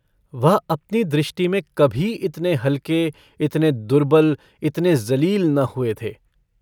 वह अपनी दृष्टि में कभी इतने हल्के, इतने दुर्बल, इतने ज़लील न हुए थे।